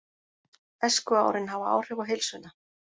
Æskuárin hafa áhrif á heilsuna